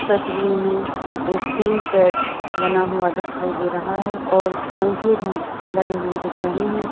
तस्वीर में एक टीन सेट बना हुआ दिखाई दे रहा है और पंखे भी लगे हुए दिख रहे है।